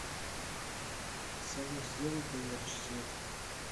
салют сделай поярче свет